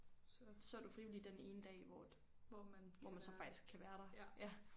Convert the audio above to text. Så er du frivillig den ene dag hvor at hvor man så faktisk kan være der ja